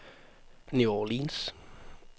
New Orleans